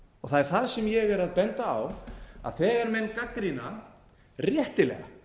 það er það sem ég er að benda á að þegar menn gagnrýna réttilega